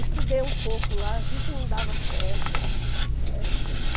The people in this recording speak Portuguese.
Estudei um pouco lá, vi que não dava certo, né.